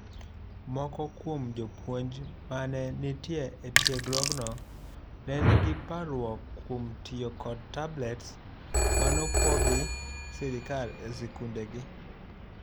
Moko kuom jopuonj manee nitie etiegruogno ne nigi parruok kuom tiyo kod tablets manopog gi sirkal esikundegi.